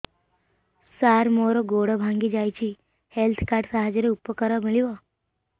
ସାର ମୋର ଗୋଡ଼ ଭାଙ୍ଗି ଯାଇଛି ହେଲ୍ଥ କାର୍ଡ ସାହାଯ୍ୟରେ ଉପକାର ମିଳିବ